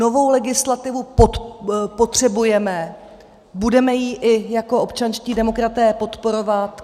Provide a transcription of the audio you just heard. Novou legislativu potřebujeme, budeme ji i jako občanští demokraté podporovat.